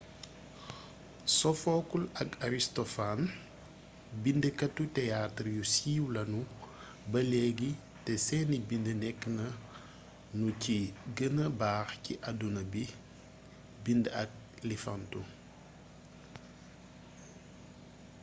sophocles ak aristophanes bindkatu teaatar yu siiw lanu ba léegi te seeni bind nekk nanu ci gëna baax ci addina bind ak liifantu